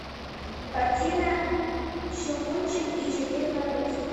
картина щелкунчик и четыре королевства